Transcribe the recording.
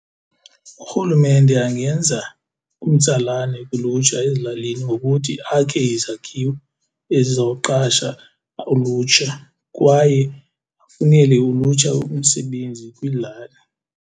Urhulumente angenza umtsalane kulutsha ezilalini ngokuthi akhe izakhiwo ezizawuqasha ulutsha kwaye afunele ulutsha umsebenzi kwiilali.